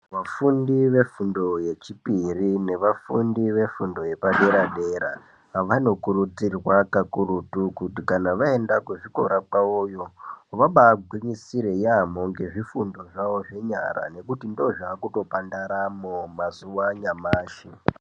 Vafundi vefundo yechipiri nevafundi vefundo yepadera-dera, vanokurudzirwa kakurutu kuti kana vaenda kuzvikora kwavoyo, vabagwinyisire yamho ngezvifundo zvavo zvenyara nekuti ndizvo zvave kutopa ndaramo mazuwa anyamashi.